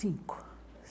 Cinco.